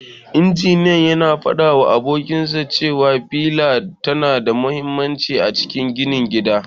Injiniyan yana fadawa abokinsa cewa fila tana da mahimmanci a ginin gida.